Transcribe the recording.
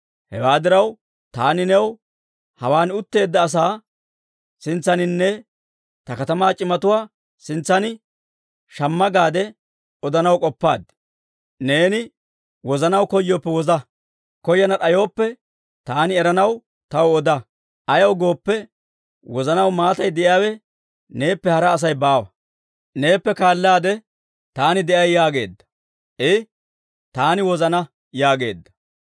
Hewaa diraw, taani new, hawaan utteedda asaa sintsaaninne ta katamaa c'imatuwaa sintsan, ‹Shamma› gaade odanaw k'oppaad. Neeni wozanaw koyooppe woza; koyana d'ayooppe, taani eranaw taw oda. Ayaw gooppe, wozanaw maatay de'iyaawe neeppe hara Asay baawa; neeppe kaallaade taani de'ay» yaageedda. I, «Taani wozana» yaageedda.